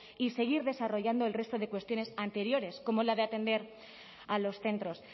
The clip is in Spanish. y seguir desarrollando el resto de cuestiones anteriores como la de atender a los centros